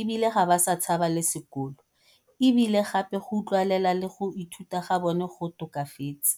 e bile ga ba sa tshaba le sekolo, e bile gape go utlwelela le go ithuta ga bona go tokafetse.